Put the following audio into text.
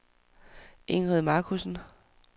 Ingrid Markussen